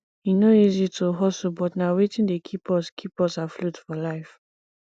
e no easy to hustle but na wetin dey keep us keep us afloat for life